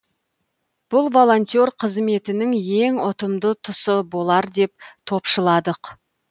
бұл волонтер қызметінің ең ұтымды тұсы болар деп топшыладық